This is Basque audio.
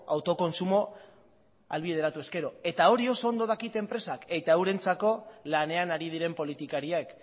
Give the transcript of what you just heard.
autokontsumoa ahalbideratu ezkero eta hori oso ondo dakite enpresek eta eurentzako lanean ari diren politikariek